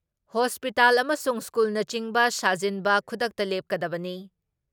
Hospital ꯑꯃꯁꯨꯡ ꯁ꯭ꯀꯨꯜꯅꯆꯤꯡꯕ ꯁꯥꯖꯤꯟꯕ ꯈꯨꯗꯛꯇ ꯂꯦꯞꯀꯗꯕꯅꯤ ꯫